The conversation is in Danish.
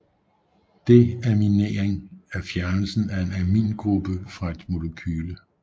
Deaminering er fjernelsen af en amingruppe fra et molekyle